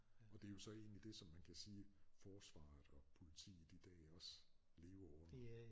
Og det er jo så egentlig det som man kan sige forsvaret og politiet i dag også lever under